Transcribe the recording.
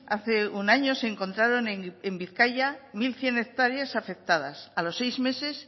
hace un año se encontraron en bizkaia mil cien hectáreas afectadas a los seis meses